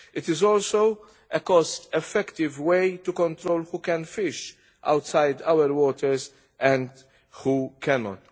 It is also a cost-effective way to control who can fish outside our waters and who cannot.